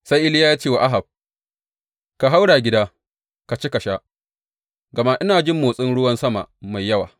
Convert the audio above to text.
Sai Iliya ya ce wa Ahab, Ka haura gida, ka ci, ka sha, gama ina jin motsin ruwan sama mai yawa.